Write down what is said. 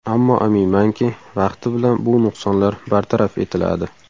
Ammo aminmanki, vaqti bilan bu nuqsonlar bartaraf etiladi.